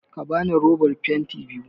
Ka bani roban fenti biyu!